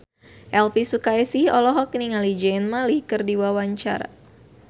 Elvi Sukaesih olohok ningali Zayn Malik keur diwawancara